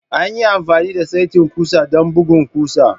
An yi amfani da saitin ƙusa don bugun ƙusa.